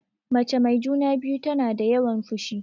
Mace mai juna-biyu tana da yawan fushi.